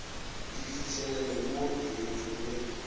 di fihlelelwe mo kreiting ye